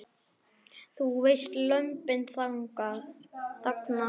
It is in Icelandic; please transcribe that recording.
Þú veist, Lömbin þagna.